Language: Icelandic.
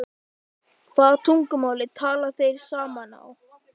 Hvaða tungumáli tala þeir saman á?